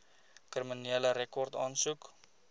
kriminele rekord aansoek